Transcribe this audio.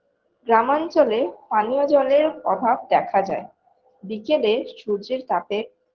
গ্রাম অঞ্চলে পানীয় জলের অভাব দেখা যায় বিকেলে সূর্যের তাপে